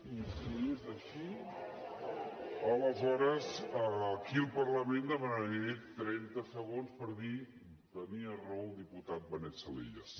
i si és així aleshores aquí al parlament demanaré trenta segons per dir tenia raó el diputat benet salellas